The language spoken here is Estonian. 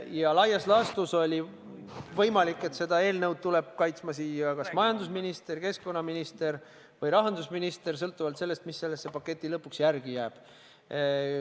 Ja laias laastus oli võimalik, et seda eelnõu tuleb kaitsma kas majandusminister, keskkonnaminister või rahandusminister sõltuvalt sellest, mis sellesse paketti lõpuks järele jääb.